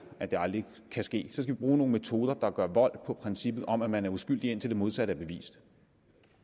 at det aldrig vil ske skal vi bruge nogle metoder der gør vold på princippet om at man er uskyldig indtil det modsatte er bevist